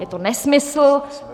Je to nesmysl.